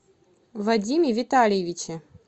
вадиме витальевиче